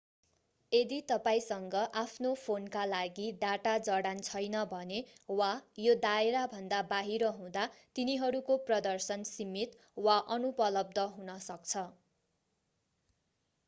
यदि तपाईंसँग आफ्नो फोनका लागि डाटा जडान छैन भने वा यो दायराभन्दा बाहिर हुँदा तिनीहरूको प्रदर्शन सीमित वा अनुपलब्ध हुन सक्छ